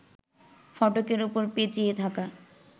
ফটকের ওপর পেঁচিয়ে থাকা